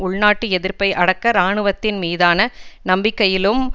உள் நாட்டு எதிர்ப்பை அடக்க இராணுவத்தின் மீதான நம்பிக்கையிலும்